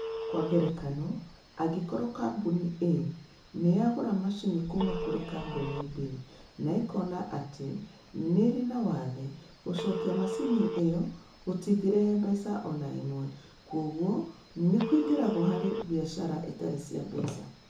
Kwa ngerekano, angĩkorũo Kambuni A nĩ ĩgũra macini kuuma kũrĩ Kambuni B na ĩkoona atĩ nĩ ĩrĩ na wathe, gũcokia macini ĩyo gũtingĩrehe mbeca o na ĩmwe, kwoguo nĩ kũingĩragwo harĩ biacara itarĩ cia mbeca.